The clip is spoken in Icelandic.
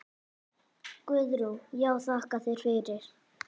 Guðrún: Já þakka þér fyrir.